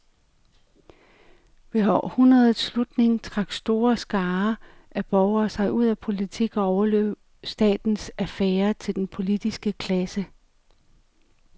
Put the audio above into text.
Ved århundredets slutning trak store skarer af borgere sig ud af politik og overlod statens affærer til den politiske klasse.